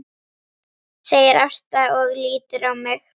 segir Ásta og lítur á mig.